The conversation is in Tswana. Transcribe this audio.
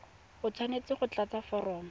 o tshwanetse go tlatsa foromo